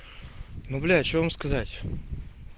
ну бля что вам сказать